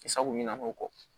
Sago ɲɛna o kɔ